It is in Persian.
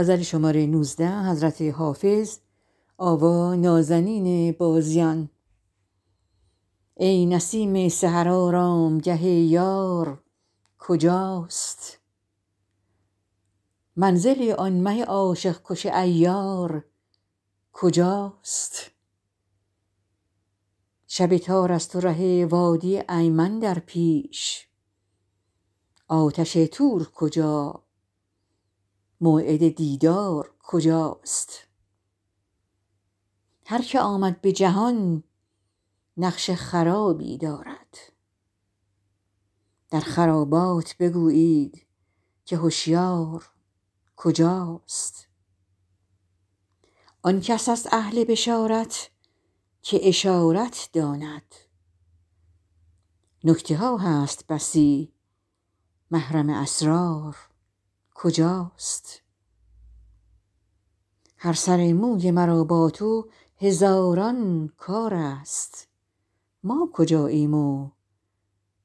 ای نسیم سحر آرامگه یار کجاست منزل آن مه عاشق کش عیار کجاست شب تار است و ره وادی ایمن در پیش آتش طور کجا موعد دیدار کجاست هر که آمد به جهان نقش خرابی دارد در خرابات بگویید که هشیار کجاست آن کس است اهل بشارت که اشارت داند نکته ها هست بسی محرم اسرار کجاست هر سر موی مرا با تو هزاران کار است ما کجاییم و